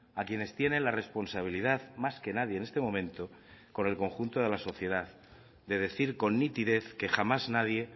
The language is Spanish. a quienes tienen la responsabilidad más que nadie en este momento con el conjunto de la sociedad de decir con nitidez que jamás nadie